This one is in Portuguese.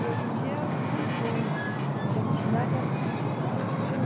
E hoje em dia você eh deu continuidade a essa carreira de professor?